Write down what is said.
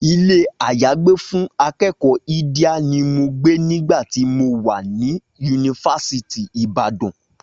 Ilé-àyágbé fún akẹ́kọ̀ọ́ Idia ni mo gbé nígbà tí mo wà ní yunifásítì Ìbàdàn